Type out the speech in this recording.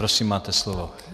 Prosím, máte slovo.